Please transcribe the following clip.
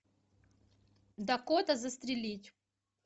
дакота застрелить